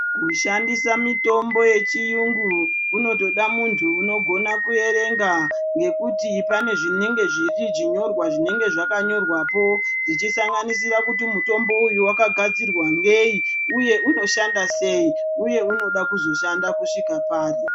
Kushandisa mitombo yechiyungu kunotoda munthu unogona kuyerenga ngekuti pane zvinenge zvinyorwa zvinenge zvakanyorwa po, zvichisanganisira kuti mutombo uyu wakagadzirwa ngeyi, uye unoshanda seyi, uye unoda kuzoshanda kusvika pari.